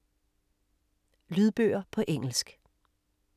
Lydbøger på engelsk